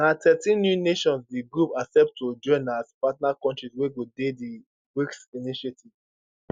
na thirteen new nations di group accept to join as partner kontris wey go dey di brics initiative